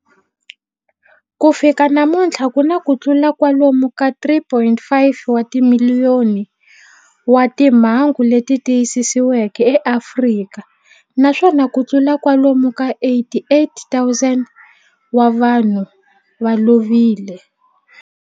Ku fika namuntlha ku na kutlula kwalomu ka 3.5 wa timiliyoni wa timhangu leti tiyisisiweke eAfrika, naswona kutlula kwalomu ka 88,000 wa vanhu va lovile.